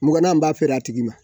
Muganna n b'a feere a tigi ma